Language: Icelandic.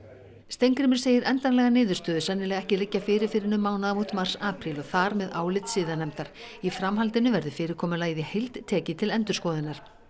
Steingrímur segir endanlega niðurstöðu sennilega ekki liggja fyrir fyrr en um mánaðamót mars apríl og þar með álit siðanefndar í framhaldinu verði fyrirkomulagið í heild tekið til endurskoðunar